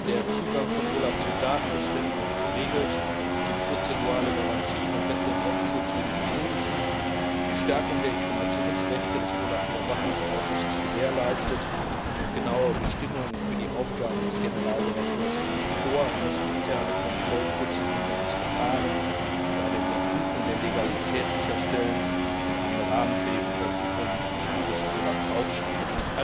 Der Zugang von OLAF zu Datenbeständen ist geregelt, es gibt prozentuale Garantien und besseren Rechtsschutz für die Beschuldigten, die Stärkung der Informationsrechte des OLAF Überwachungsausschusses ist gewährleistet, und genauere Bestimmungen für die Aufgaben des Generaldirektors liegen vor Er muss interne Kontrollprozeduren des Verfahrens und eine Überprüfung der Legalität sicherstellen und einen Rahmen für die Untersuchungen des OLAF aufstellen.